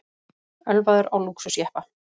Ölvaður á lúxusjeppa